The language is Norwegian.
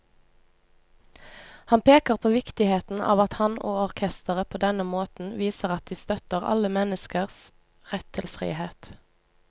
Han peker på viktigheten av at han og orkesteret på denne måten viser at de støtter alle menneskers rett til frihet.